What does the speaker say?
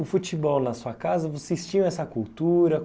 O futebol na sua casa, vocês tinham essa cultura?